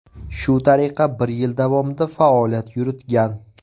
Shu tariqa bir yil davomida faoliyat yuritgan.